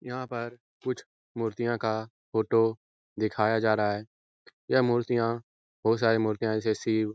यहाँ पर कुछ मूर्तियाँ का फोटो दिखाया जा रहा है। यह मूर्तियाँ बहोत सारी मूर्तियाँ जैसी शिव --